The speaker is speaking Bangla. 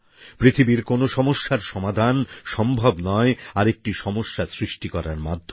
পৃথিবীর কোন সমস্যার সমাধান সম্ভব নয় আরেকটি সমস্যা সৃষ্টি করার মাধ্যমে